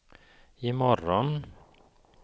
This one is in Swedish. imorgon